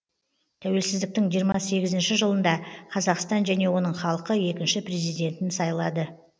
тәуелсіздіктің жиырма сегізінші жылында қазақстан және оның халқы екінші президентін сайлады